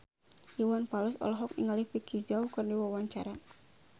Iwan Fals olohok ningali Vicki Zao keur diwawancara